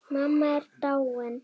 Mamma er dáin.